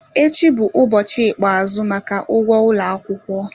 Echi bụ ụbọchị ikpeazụ maka ụgwọ ụlọ akwụkwọ